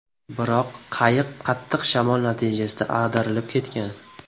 Biroq qayiq qattiq shamol natijasida ag‘darilib ketgan.